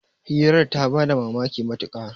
hirar ta ba da mamaki matuka